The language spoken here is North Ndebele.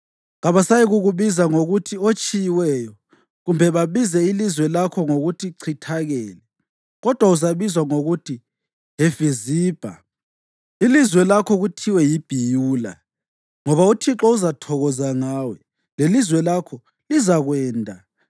Kabasayikukubiza ngokuthi oTshiyiweyo kumbe babize ilizwe lakho ngokuthi Chithakele. Kodwa uzabizwa ngokuthi Hefiziba ilizwe lakho kuthiwe yiBhiyula, ngoba uThixo uzathokoza ngawe, lelizwe lakho lizakwenda.